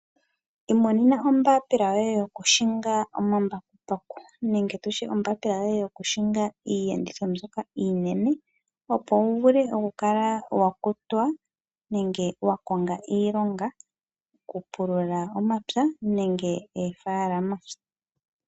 Imonena ombapila yoye yokuhinga omambakumbaku nenge tu tye ombapila yoye yokuhinga iiyenditho mbyoka iinene, opo wu vule okukala wa kutwa nenge wa konga iilonga yokupulula omapya nenge oofaalama.